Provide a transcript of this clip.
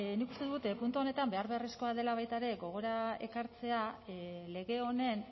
nik uste dut puntu honetan behar beharrezkoa dela baita ere gogora ekartzea lege honen